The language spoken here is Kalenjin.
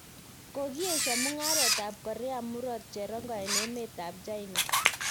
Kokiesiio mungaret ab korea murot cherongo en emet ab China